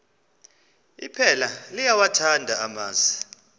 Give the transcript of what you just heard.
iphela liyawathanda amasi